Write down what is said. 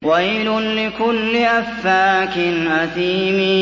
وَيْلٌ لِّكُلِّ أَفَّاكٍ أَثِيمٍ